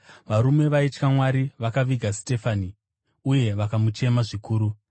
Varume vaitya Mwari vakaviga Sitefani uye vakamuchema zvikuru.